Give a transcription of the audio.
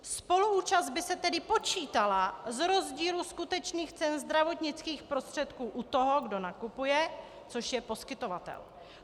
Spoluúčast by se tedy počítala z rozdílu skutečných cen zdravotnických prostředků u toho, kdo nakupuje, což je poskytovatel.